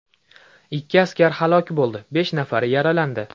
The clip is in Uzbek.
Ikki askar halok bo‘ldi, besh nafari yaralandi.